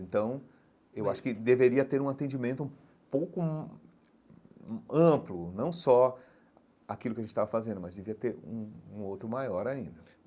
Então, eu acho que deveria ter um atendimento um pouco hum amplo, não só aquilo que a gente estava fazendo, mas devia ter um um outro maior ainda.